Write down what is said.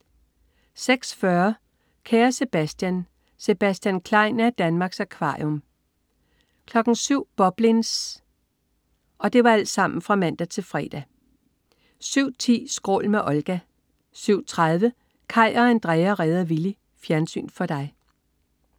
06.40 Kære Sebastian. Sebastian Klein er i Danmarks Akvarium (man-fre) 07.00 Boblins (man-fre) 07.10 Skrål med Olga 07.30 Kaj og Andrea redder Willy. Fjernsyn for dig